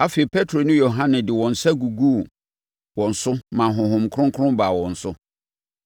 Afei, Petro ne Yohane de wɔn nsa guguu wɔn so maa Honhom Kronkron baa wɔn so.